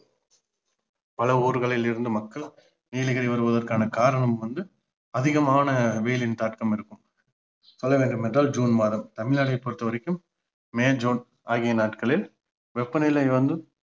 பல ஊர்களில் இருந்து மக்கள் நீலகிரி வருவதற்கான காரணம் வந்து அதிகமான வெயிலின் தாக்கம் இருக்கும் சொல்ல வேண்டும் என்றால் ஜுன் மாதம் தமிழ்நாட்டை பொறுத்த வரைக்கும் மே ஜுன் ஆகிய நாட்களில் வெப்பநிலை வந்து